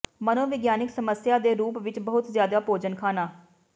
ਮਨੋਵਿਗਿਆਨਕ ਸਮੱਸਿਆ ਦੇ ਰੂਪ ਵਿੱਚ ਬਹੁਤ ਜ਼ਿਆਦਾ ਭੋਜਨ ਖਾਣਾ